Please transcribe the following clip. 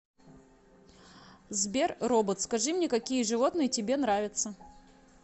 сбер робот скажи мне какие животные тебе нравятся